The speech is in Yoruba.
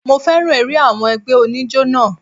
Mo féràn eré àwọn ẹgbẹ́ oníjó náà.